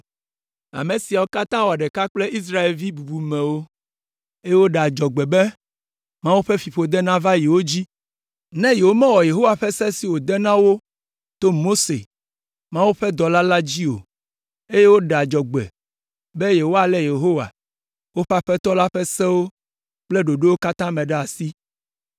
Ame siawo katã wɔ ɖeka kple Israelvi bubumewo, eye woɖe adzɔgbe be Mawu ƒe fiƒode nava wo dzi ne womewɔ Yehowa ƒe Se siwo wòde na wo to Mose, Mawu ƒe dɔla la dzi o, eye woɖe adzɔgbe be woalé Yehowa, woƒe Aƒetɔ la ƒe Sewo kple ɖoɖowo katã me ɖe asi.